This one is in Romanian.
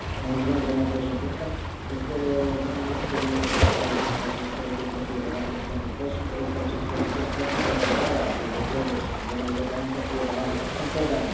Domnule Președinte, este minunat că domnul Hogan a reușit ca aceste reguli să fie valabile pentru toți și îmi doresc ca aceste lucruri pentru protejarea agricultorilor și sistemului european să fie valabile întotdeauna.